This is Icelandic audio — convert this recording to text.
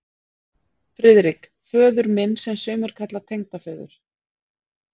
FRIÐRIK: Föður minn, sem sumir kalla tengdaföður